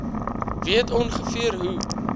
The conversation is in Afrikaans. weet ongeveer hoe